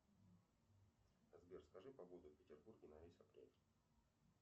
сбер скажи погоду в петербурге на весь апрель